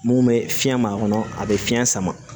Mun bɛ fiɲɛ ma kɔnɔ a bɛ fiɲɛ sama